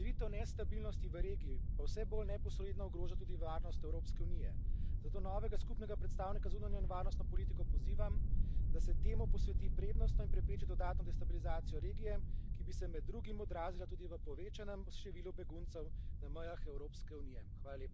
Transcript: Širitev nestabilnosti v regiji pa vse bolj neposredno ogroža tudi varnost Evropske unije, zato novega skupnega predstavnika zunanje in varnostne politike pozivam, da se temu posveti prednostno in prepreči dodatno destabilizacijo regije, ki bi se med drugim odrazila tudi v povečanem številu beguncev na mejah Evropske unije.